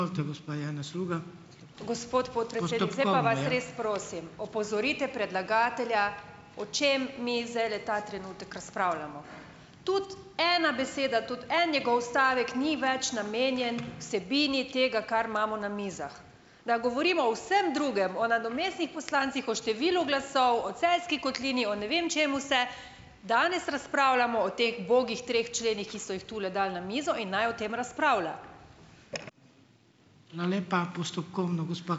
Gospod podpredsednik, zdaj pa vas res prosim, opozorite predlagatelja, o čem mi zdajle ta trenutek razpravljamo. Tudi ena beseda, tudi en njegov stavek ni več namenjen vsebini tega, kar imamo na mizah. Da govorimo o vsem drugem, o nadomestnih poslancih, o številu glasov, o Celjski kotlini, o ne vem čem vse, danes razpravljamo o teh ubogih treh členih, ki so jih tule dali na mizo, in naj o tem razpravlja.